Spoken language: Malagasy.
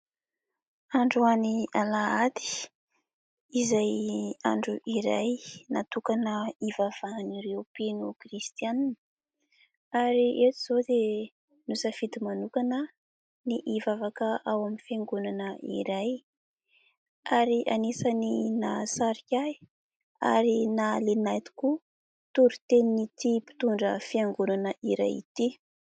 Androany Alahady, izay andro iray natokana hivavahan'ireo mpino kristianina ary eto izao dia nisafidy manokana ny hivavaka ao amin'ny fiangonana iray ary anisany nahasarika ahy ary nahaliana ahy tokoa toritenin'ity mpitondra fiangonana iray ity.